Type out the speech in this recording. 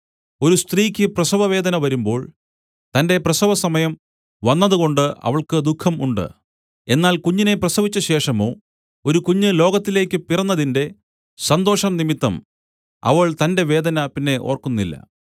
ഒരു സ്ത്രീക്ക് പ്രസവവേദന വരുമ്പോൾ തന്റെ പ്രസവസമയം വന്നതുകൊണ്ട് അവൾക്ക് ദുഃഖം ഉണ്ട് എന്നാൽ കുഞ്ഞിനെ പ്രസവിച്ചശേഷമോ ഒരു കുഞ്ഞ് ലോകത്തിലേക്കു പിറന്നതിന്റെ സന്തോഷംനിമിത്തം അവൾ തന്റെ വേദന പിന്നെ ഓർക്കുന്നില്ല